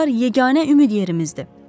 Silahlar yeganə ümid yerimizdir.